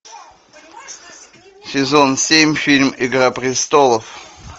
сезон семь фильм игра престолов